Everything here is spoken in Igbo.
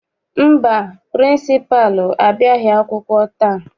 Mba, pịrịnsịpalụ abịaghị akwụkwọ taa.